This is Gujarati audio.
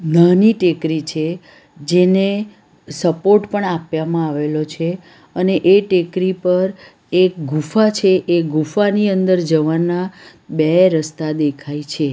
નાની ટેકરી છે જેને સપોર્ટ પણ આપવામાં આવેલો છે અને એ ટેકરી પર એક ગુફા છે એ ગુફાની અંદર જવાના બે રસ્તા દેખાય છે.